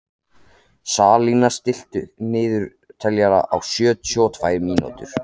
Salína, stilltu niðurteljara á sjötíu og tvær mínútur.